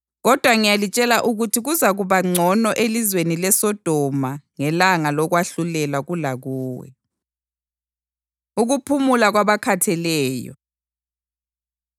Kodwa ngiyalitshela ukuthi kuzakuba ngcono elizweni leSodoma ngelanga lokwahlulelwa kulakuwe.” Ukuphumula Kwabakhatheleyo